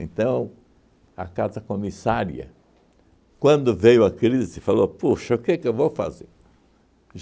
a casa-comissária, quando veio a crise, falou, puxa, o que que eu vou fazer?